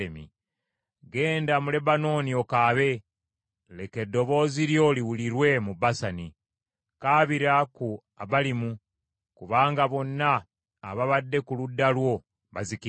“Genda mu Lebanooni okaabe, leka eddoboozi lyo liwulirwe mu Basani. Kaabira ku Abalimu, kubanga bonna ababadde ku ludda lwo bazikiridde.